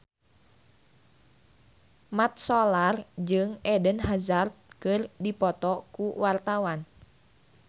Mat Solar jeung Eden Hazard keur dipoto ku wartawan